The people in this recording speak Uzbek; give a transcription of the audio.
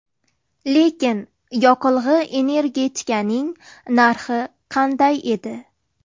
Lekin yoqilg‘i-energetikaning narxi qanday edi?